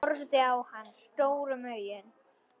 Horfði á hana stórum augum.